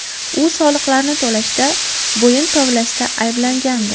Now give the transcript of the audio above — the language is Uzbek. U soliqlarni to‘lashda bo‘yin tovlashda ayblangandi.